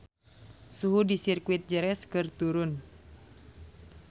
Suhu di Sirkuit Jerez keur turun